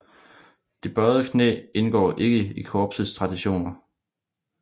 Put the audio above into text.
Det bøjede knæ indgår ikke i korpsets traditioner